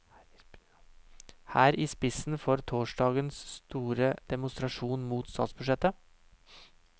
Her i spissen for torsdagens store demonstrasjon mot statsbudsjettet.